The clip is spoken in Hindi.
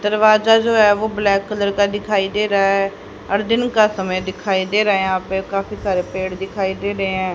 दरवाजा जो है वो ब्लैक कलर का दिखाई रहा है और दिन का समय दिखाई दे रहा है यहाँ पे काफी सारे पेड़ दिखाई दे रहे हैं।